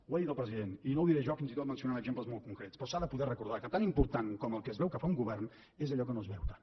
ho ha dit el president i no ho diré jo fins i tot mencionant exemples molt concrets però s’ha de poder recordar que tan important com el que es veu que fa un govern és allò que no es veu tant